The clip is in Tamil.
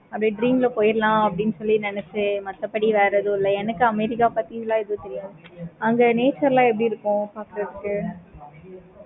அது dream ல போயிரலாம் அப்படி சொல்லி நினைச்சன். மத்தபடி வேற எதுவும் இல்ல. எனக்கு america பத்தி எதுவும் தெரியாது. அங்க nature லாம் எப்படி இருக்கு பார்க்கிறதுக்கு